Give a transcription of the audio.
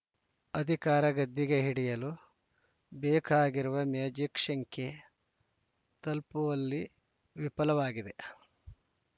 ಅಧಿಕಾರ ಗದ್ದುಗೆ ಹಿಡಿಯಲು ಬೇಕಾಗಿರುವ ಮ್ಯಾಜಿಕ್‌ ಶಂಖ್ಯೆ ತಲುಪುವಲ್ಲಿ ವಿಫಲವಾಗಿದೆ